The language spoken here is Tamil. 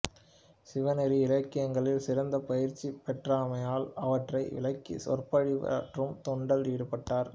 சிவநெறி இலக்கியங்களில் சிறந்த பயிற்சி பெற்றமையால் அவற்றை விளக்கி சொற்பொழிவாற்றும் தொண்டில் ஈடுபட்டார்